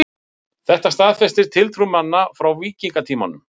þetta staðfestir tiltrú manna frá víkingatímanum